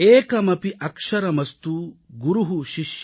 एकमपि अक्षरमस्तु गुरुः शिष्यं प्रबोधयेत् |